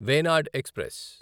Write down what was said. Wayanad express